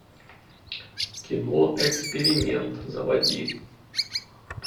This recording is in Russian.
кино эксперимент заводи